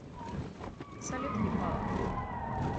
салют ебало